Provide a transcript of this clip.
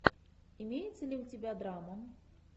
имеется ли у тебя драма